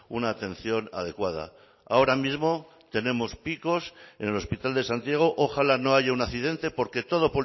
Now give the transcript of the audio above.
una atención adecuada ahora mismo tenemos picos en el hospital de santiago ojalá no haya un accidente porque todo